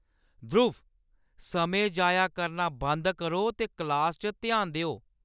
ध्रुव, समें जाया करना बंद करो ते क्लास च ध्यान देओ!